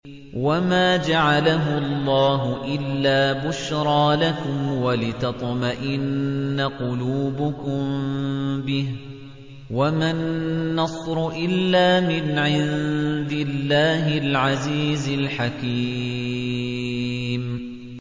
وَمَا جَعَلَهُ اللَّهُ إِلَّا بُشْرَىٰ لَكُمْ وَلِتَطْمَئِنَّ قُلُوبُكُم بِهِ ۗ وَمَا النَّصْرُ إِلَّا مِنْ عِندِ اللَّهِ الْعَزِيزِ الْحَكِيمِ